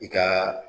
I ka